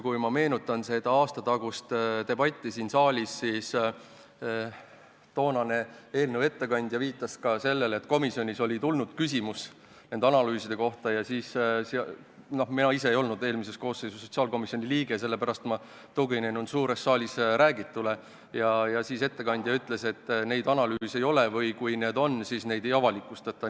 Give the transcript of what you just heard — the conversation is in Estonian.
Kui ma meenutan aastatagust debatti siin saalis, siis ka toonane eelnõu ettekandja viitas sellele, et komisjonis oli nende analüüside kohta küsimus tekkinud, ja siis – mina ise ei olnud eelmise koosseisu ajal sotsiaalkomisjoni liige, sellepärast ma tuginengi suures saalis räägitule – ettekandja ütles, et neid analüüse ei ole tehtud või kui on, siis neid ei avalikustata.